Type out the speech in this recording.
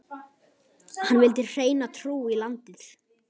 Hann vildi hreina trú í landið.